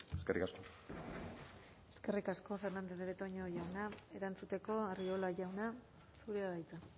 eskerrik asko eskerrik asko fernandez de betoño jauna erantzuteko arriola jauna zurea da hitza